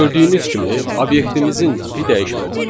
Gördüyünüz kimi obyektimizin tipi dəyişmədi.